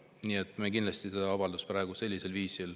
Nii et me kindlasti seda avaldust praegu ei toeta.